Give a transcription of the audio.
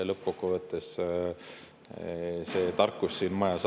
Lõppkokkuvõttes asub see tarkus siin majas.